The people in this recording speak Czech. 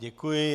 Děkuji.